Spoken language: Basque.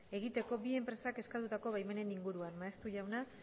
egiteko bi enpresak eskatutako baimenen inguruan maeztu jauna